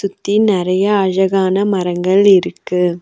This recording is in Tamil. சுத்தி நறைய அழகான மரங்கள் இருக்கு.